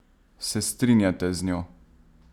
Se strinjate z njo?